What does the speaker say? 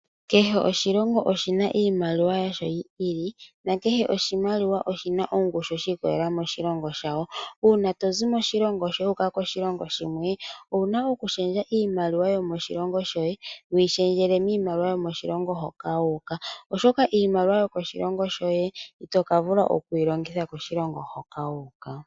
Kehe oshilongo oshina iimaliwa yasho yi ili nakehe oshimaliwa oshina oshina ongushu shi ikolelea koshilongo shawo. Uuna tozi moshilongo shoye wu uka koshilongo shimwe owuna oku shendja iimaliwa yo moshilongo shoye wu yi shendjele miimaliwa yomoshilongo hoka wu uka ,oshoka iimaliwa yomoshilongo shoye ito kavula oku keyi longitha koshilongo hoka wu uka.